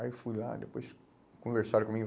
Aí eu fui lá, depois conversaram comigo.